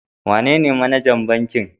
Wanene manajan bankin?